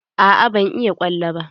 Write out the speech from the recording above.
Aa ban iya ƙwallo ba.